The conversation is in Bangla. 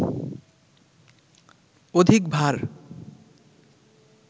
অধিক ভার